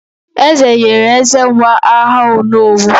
Eze nyere Ezenwa aha "Onowu"